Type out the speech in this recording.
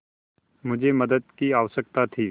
मुझे मदद की आवश्यकता थी